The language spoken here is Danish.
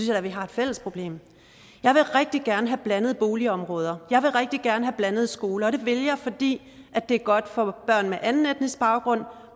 jeg at vi har et fælles problem jeg vil rigtig gerne have blandede boligområder jeg vil rigtig gerne have blandede skoler og det vil jeg fordi det er godt for børn med anden etnisk baggrund